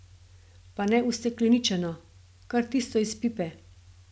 Pa ne ustekleničeno, kar tisto iz pipe.